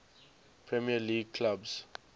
premier league clubs